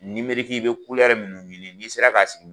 i bɛ minnu ɲini n'i sera k'a sigi